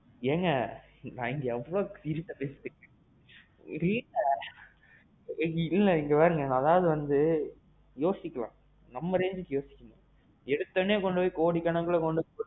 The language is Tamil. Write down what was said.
ஏங்க நான் எவ்வளவு seriousஅ பேசிக்கிட்டுருக்கேன், வீட்ல. ஒரே இல்ல அதாவது வந்து, யோசிக்கலாம் நம்ம rangeக்கு யோசிக்கணும். எடுத்த ஒடனே பொய் கோடிக்கணக்குல கொண்டு.